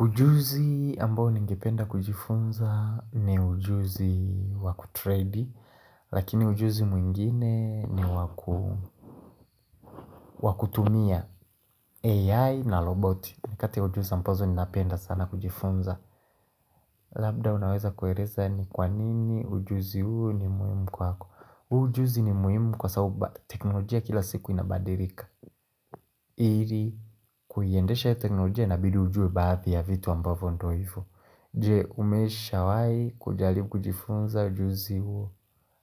Ujuzi ambao ningependa kujifunza ni ujuzi waku tredi, lakini ujuzi mwingine ni wakutumia AI na roboti. Ni kati ujuzi ambazo ninapenda sana kujifunza. Labda unaweza kuereza ni kwa nini ujuzi huo ni muhimu kwako. Ujuzi ni muhimu kwa sababu teknolojia kila siku inabadirika. Iri kuiyendesha iyo teknolojia inabidi ujue baathi ya vitu ambavo ndo ifo. Je umesha wai kujalibu kujifunza ujuzi huo